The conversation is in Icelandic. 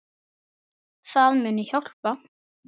Það muni hjálpa.